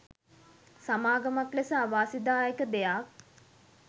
සමාගමක් ලෙස අවාසිදායක දෙයක්.